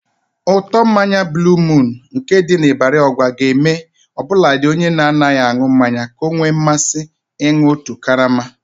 Ụtọ mmanya buuluu muun nke ndị Ibarị Ọgwa ga-eme ọbụladị onye na-anaghị aṅụ mmanya ka o nwee mmasị ịnụ otu karama.